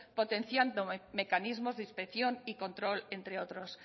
potenciando mecanismos de inspección y control entre otros